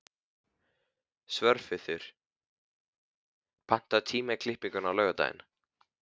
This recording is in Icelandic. Svörfuður, pantaðu tíma í klippingu á laugardaginn.